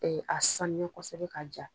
A sanuya kosɛbɛ k'a ja